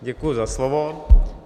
Děkuji za slovo.